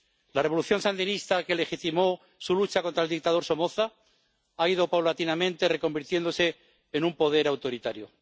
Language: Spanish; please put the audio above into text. La revolución sandinista que legitimó su lucha contra el dictador Somoza ha ido paulatinamente reconvirtiéndose en un poder autoritario.